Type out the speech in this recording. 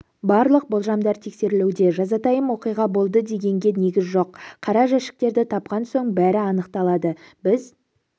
барлық болжамдар тексерілуде жазатайым оқиға болды дегенге негіз жоқ қара жәшіктерді тапқан соң бәрі анықталады біз